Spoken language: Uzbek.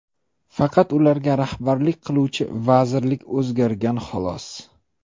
Faqat ularga rahbarlik qiluvchi vazirlik o‘zgargan, xolos.